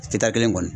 Cita kelen kɔni